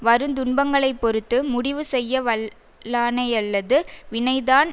வருந் துன்பங்களை பொறுத்து முடிவு செய்யவல் லானையல்லது வினைதான்